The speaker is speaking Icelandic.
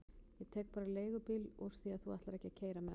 Ég tek bara leigubíl úr því að þú ætlar ekki að keyra mig heim aftur.